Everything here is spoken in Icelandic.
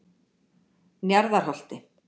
Njarðarholti